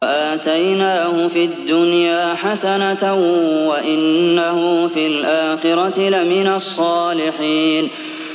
وَآتَيْنَاهُ فِي الدُّنْيَا حَسَنَةً ۖ وَإِنَّهُ فِي الْآخِرَةِ لَمِنَ الصَّالِحِينَ